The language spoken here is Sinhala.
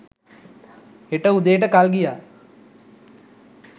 හෙට උදේට කල් ගියා.